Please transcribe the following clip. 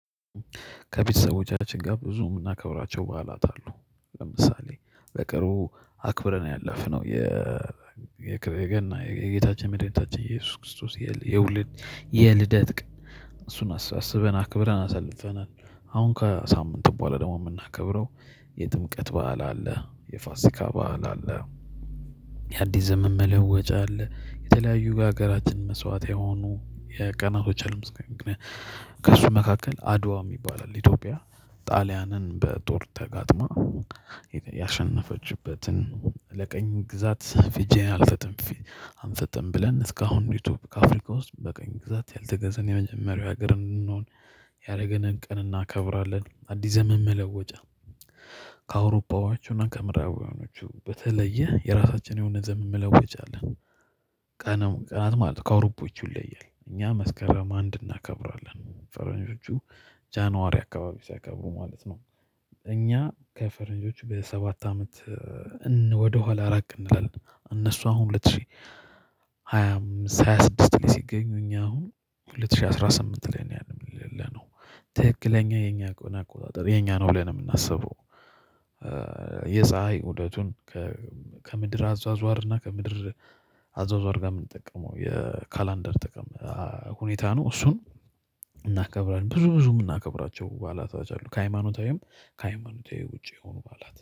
ከቤተሰቦቻችን ጋር ብዙ የምናከብራቸው በዓላት አሉ ለምሳሌ በቅርቡ አክብረን ያለፍነው የገና የጌታችን የመድኃኒታችን ኢየሱስ ክርስቶስ የውልን የልደት ቀን እሱን አስበን አክብረን አሰልፈናል። አሁን ከሳምንት በኋላ ደግሞ የምናከብረው የጥምቀት በዓል አለ የፋሲካ በዓል አለ የአዲስ ዘመን መለወጫ አለ የተለያየ ለሃገራችን መስዋእት የሆኑ ቀናቶች አሉ። ለምሳሌ ከሱ መካከል አድዋ የሚባል አለ። ኢትዮጵያ ጣሊያንን በጦር ተጋጥማ ያሸነፈችበትን ለቀኝ ግዛት እጄን አልሰጥም አንሰጥም ብለን እስካሁን እንዲሁ ከአፍሪካ ውስጥ በቀኝ ግዛት ያልተገዘን የመጀመሪያው ሀገር እንድንሆን ያደረገንን ቀን እናከብራለን። አዲስ ዘመን መለወጫ ከአውሮፓውያን እና ከምዕራባውያኖች በተለየ የራሳችን የሆነ ዘመን መለወጫ አለን። ቀናት ማለት ነው ካውሮፓዎቹ ይለያል እኛ መስከረም አንድ እናከብራለን ፈረንጆቹ ጃንዋሪ አካባቢ ሲያከብሩ ማለት ነው። እኛ ከፈረንጆቹ በሰባት አመት ወደ ኋላ ራቅ እንላለን። እነሱ አሁን ሁለት ሺህ ሃያ አምስት ሃያ ስድስት ላይ ሲገኙ እኛ አሁን ሁለት ሺህ አስራ ስምንት ላይ ነው ያለን ያለነው። ትክክለኛ የኛ አቆጣጠር የኛ ነው ብለን ነው የምናስበው። የፀሀይ ውደቱን ከምድር አዟዟር እና ከምድር አዟዟር ጋር የምንጠቀመው የካላንደር ጥቅም ሁኔታ ነው። እሱም እናከብራለን ብዙ ብዙ የምናከብራቸው በዓላቶች አሉ ከሃይማኖታዊም ከሃይማኖታዊ ውጪ የሆኑ በዓላት